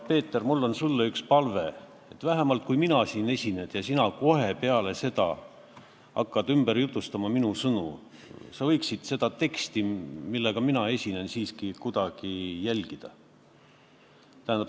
Peeter, mul on sulle üks palve: kui ma siin esinen, siis sina kohe hakkad minu sõnu ümber jutustama, aga sa võiksid seda teksti, mille ma ette kannan, siiski kuidagi jälgida.